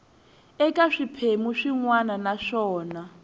eka swiphemu swin wana naswona